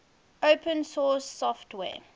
open source software